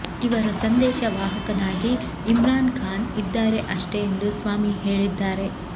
ಇವರ ಸಂದೇಶ ವಾಹಕನಾಗಿ ಇಮ್ರಾನ್ ಖಾನ್ ಇದ್ದಾರೆ ಅಷ್ಟೇ ಎಂದು ಸ್ವಾಮಿ ಹೇಳಿದ್ದಾರೆ